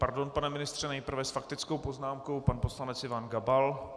Pardon, pane ministře, nejprve s faktickou poznámkou pan poslanec Ivan Gabal.